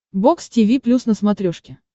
бокс тиви плюс на смотрешке